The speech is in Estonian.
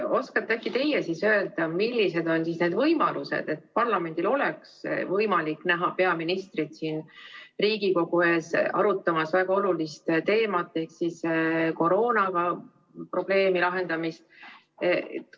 Oskate äkki teie öelda, millised on need võimalused, et parlamendil oleks võimalik näha peaministrit siin Riigikogu ees arutamas väga olulist teemat ehk koroonaprobleemi lahendamist?